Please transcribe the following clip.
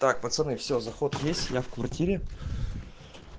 так пацаны всё заход есть я в квартире